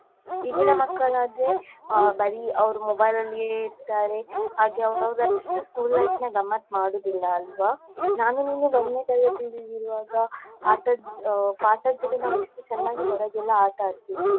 ಈಗಿನ ಮಕ್ಕಳಾದ್ರೆ ಅ ಬರಿ ಅವ್ರು mobile ಅಲ್ಲಿಯೇ ಇರ್ತರೆ ಹಾಗೆ ಅವ್ರು ಅಷ್ಟು school lifeನ ಗಮ್ಮತ್ ಮಾಡುದಿಲ್ಲ ಅಲ್ವ, ನಾನು ನೀನು ಒಂದ್ನೇ ತರಗತಿಲಿ ಇರುವಾಗ ಆಟದ್ ಪಾಠದ್ ಜೊತೆ ನಾವ್ ಎಷ್ಟು ಚೆನ್ನಾಗಿ ನಾವ್ ಹೊರಗೆ ಎಲ್ಲ ಆಟಾಡ್ತಿದ್ವಿ.